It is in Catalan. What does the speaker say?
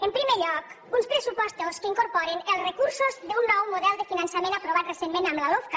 en primer lloc uns pressupostos que incorporen els recursos d’un nou model de finançament aprovat recentment amb la lofca